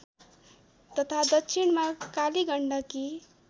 तथा दक्षिणमा कालीगण्डकी